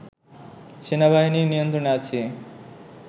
সেনাবাহিনীর নিয়ন্ত্রণে আছি